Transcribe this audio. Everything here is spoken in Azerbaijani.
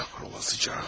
Qara olasıca.